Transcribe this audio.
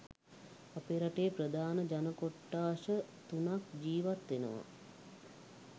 අපේ රටේ ප්‍රධාන ජන කොට්ඨාස තුනක් ජීවත් වෙනවා.